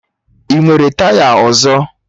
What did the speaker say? Ị nwere taya ọzọ?